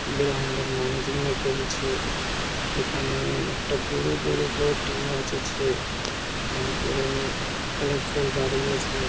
Ground এ মানুষগুলো খেলছে এইখানে একটা বুড়ো বুড়ো বোর্ড আছে তারপরে কালারফুল বাড়ি আছে।